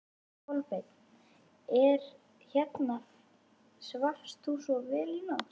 Kolbeinn: Er hérna, svafst þú vel í nótt?